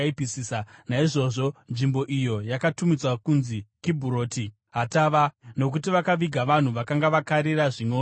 Naizvozvo nzvimbo iyo yakatumidzwa kunzi Kibhuroti Hataavha, nokuti vakaviga vanhu vakanga vakarira zvimwewo zvokudya.